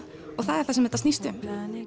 og það er það sem þetta snýst um